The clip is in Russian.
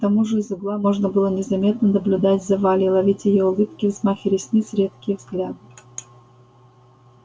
к тому же из угла можно было незаметно наблюдать за валей ловить её улыбки взмахи ресниц редкие взгляды